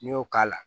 N'i y'o k'a la